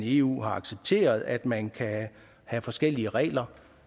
eu har accepteret at man kan have forskellige regler